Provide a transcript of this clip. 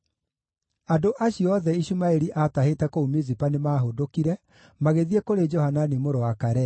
Andũ acio othe Ishumaeli aatahĩte kũu Mizipa nĩmahũndũkire, magĩthiĩ kũrĩ Johanani mũrũ wa Karea.